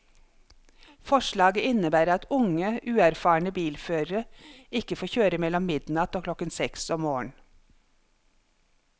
Forslaget innebærer at unge, uerfarne bilførere ikke får kjøre mellom midnatt og klokken seks om morgenen.